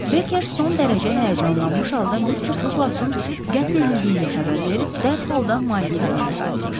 Berker son dərəcə həyəcanlanmış halda Mr. Duqlasın qətl edildiyini xəbər verib dərhal da malikanəyə qayıtmışdı.